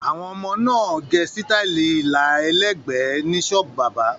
Àwọn ọmọkùnrin náà gẹ sítáálì ilà ẹlẹ́gbẹ̀ẹ́ ní ṣọ́ọ́bù bábà.